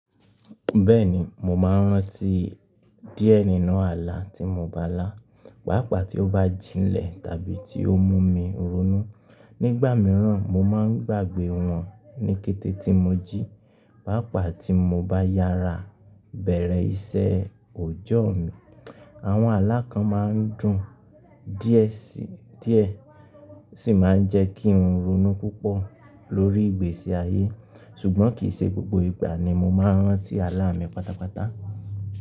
Bẹ́ẹ̀ni, mo máa ń rántí díẹ̀ nínú àlá tí mo bá lá, pàápàá tí ó bá jinlẹ̀ tàbí tí ó mú mi ronú. Nígbà mìíràn, mo máa ń gbàgbé wọn ní kété tí mo jí, pàápàá tí mo bá yára bẹ̀rẹ̀ iṣẹ́ òòjọ́ mi. Àwọn alákàn máa ń dùn díẹ̀ sí, díẹ̀ sì máa ń jẹ́ kí n ronú púpọ̀ lórí ìgbésí ayé. Ṣùgbọ́n kì í ṣe gbogbo ìgbà ni mo máa ń rántí alá mi pátápátá.